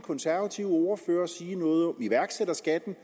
konservative ordfører sige noget om iværksætterskatten